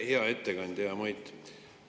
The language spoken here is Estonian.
Hea ettekandja, hea Mait!